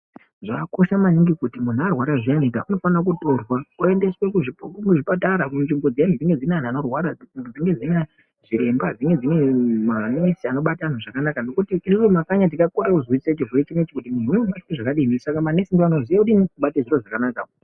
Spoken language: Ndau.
Zvakakosha maningi kuti muntu arwara zviyani aendese kuzvipatara kunenge kune vanhu varwara zviremba manesi anobata antu zvakanaka ngokuti manesi ndiwo anoziva kubata zvinhu zvakanaka.